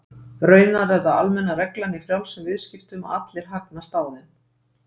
Raunar er það almenna reglan í frjálsum viðskiptum að allir hagnast á þeim.